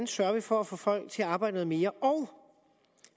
sørger for at få folk til at arbejde noget mere og